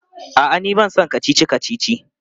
A'a, ni ba na son kacici-kacici.